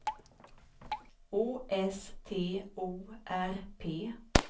Å S T O R P